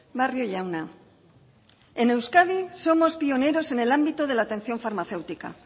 barrio jauna en euskadi somos pioneros en el ámbito de la atención farmacéutica